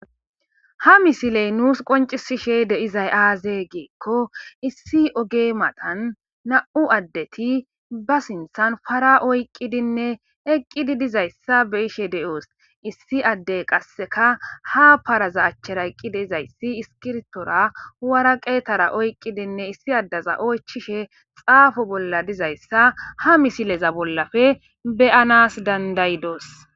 Ha misiley nuus qoncisishe deizay aaze geekko issi oge matan na7u addeti ba sinthan fara oyqqidinne eqqidi dizayssa be ishe de7oos issi addey qasseka ha paraza achchera eqqi deizayssi iskirtora wara qeetara oyqqidinne issi addaza oychishe xaafo bolla dizayssa ha misileza bollafe beyanas dandayidoos.